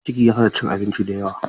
Ciki ya sa ta cin abinci da yawa.